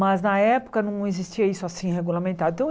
Mas na época não existia isso assim regulamentado então.